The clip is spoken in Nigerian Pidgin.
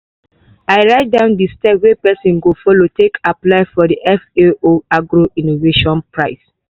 i write down di steps wey pesin go follow take apply for di fao agro- innovation prize.